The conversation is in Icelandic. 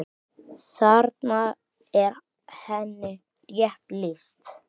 Þarna er henni rétt lýst.